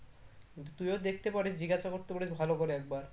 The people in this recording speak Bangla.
তুইও দেখতে পারিস জিজ্ঞাসা করতে পারিস ভালো করে একবার